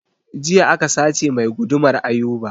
Jiya aka sace mai gudumar Ayuba